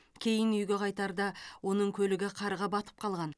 кейін үйге қайтарда оның көлігі қарға батып қалған